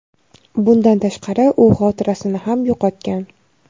Bundan tashqari, u xotirasini ham yo‘qotgan.